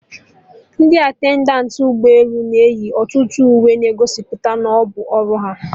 Ndị attendant ụgbọ elu na eyi ọtụtụ uwe na-egosipụta na ọbụ ọrụ ha